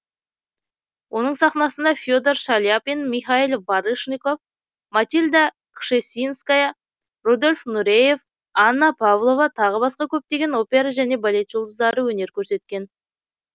оның сахнасында фе дор шаляпин михаил барышников матильда кшесинская рудольф нуреев анна павлова тағы басқа көптеген опера және балет жұлдыздары өнер көрсеткен